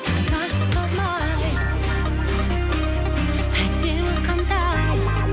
тыңдашы талмай әдемі қандай